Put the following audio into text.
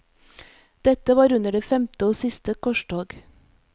Dette var under det femte og siste korstog.